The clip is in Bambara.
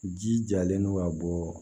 Ji jalen don ka bɔ